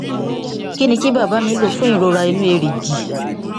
kí ni kí bàbá mi lò fún ìrora inú èrìgì